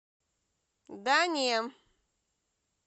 да не